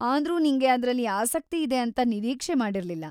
ಆದ್ರೂ ನಿಂಗೆ ಅದ್ರಲ್ಲಿ ಆಸಕ್ತಿ ಇದೆ ಅಂತ ನಿರೀಕ್ಷೆ ಮಾಡಿರ್ಲಿಲ್ಲ.